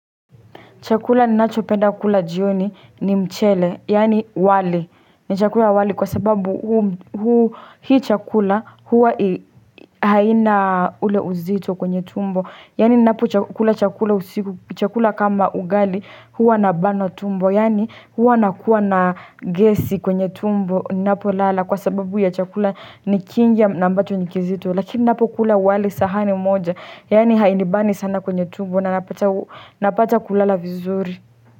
Chakula ninachopenda kula jioni ni mchele, yaani wali. Ni chakula wali kwa sababu huu hii chakula huwa haina ule uzito kwenye tumbo. Yaani ninapokula usiku chakula kama ugali huwa nabanwa tumbo. Yaani huwa nakuwa na gesi kwenye tumbo ninapolala kwa sababu ya chakula ni kingi na ambacho ni kizito. Lakini ninapo kula wali sahani mmoja Yaani hainibani sana kwenye tumbo na napata kulala vizuri.